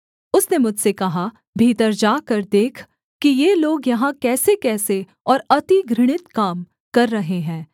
उसने मुझसे कहा भीतर जाकर देख कि ये लोग यहाँ कैसेकैसे और अति घृणित काम कर रहे हैं